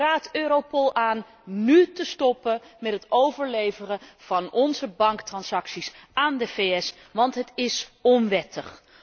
Ik raad Europol aan nu te stoppen met het overleveren van onze banktransacties aan de VS, want het is onwettig.